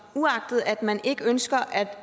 uagtet at man ikke ønsker at